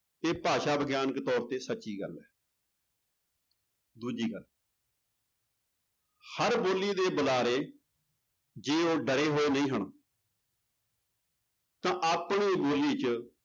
ਇਹ ਭਾਸ਼ਾ ਵਿਗਿਆਨਕ ਤੌਰ ਤੇ ਸੱਚੀ ਗੱਲ ਹੈ ਦੂਜੀ ਗੱਲ ਹਰ ਬੋਲੀ ਦੇ ਬੁਲਾਰੇ ਜੇ ਉਹ ਡਰੇ ਹੋਏ ਨਹੀਂ ਹਨ ਤਾਂ ਆਪਣੀ ਬੋਲੀ ਚ